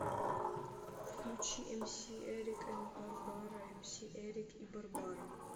включи эмси эрик энд барбара эмси эрик и барбара